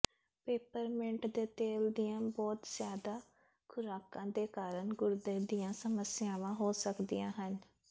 peppermint ਦੇ ਤੇਲ ਦੀਆਂ ਬਹੁਤ ਜ਼ਿਆਦਾ ਖੁਰਾਕਾਂ ਦੇ ਕਾਰਨ ਗੁਰਦੇ ਦੀਆਂ ਸਮੱਸਿਆਵਾਂ ਹੋ ਸਕਦੀਆਂ ਹਨ